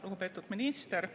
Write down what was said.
Lugupeetud minister!